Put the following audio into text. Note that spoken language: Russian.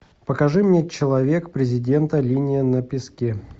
покажи мне человек президента линия на песке